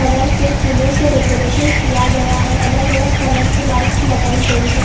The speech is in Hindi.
कलर के फूलों से डेकोरेशन किया गया हैं अलग अलग कलर की लाइट्स लगायी गयी हैं।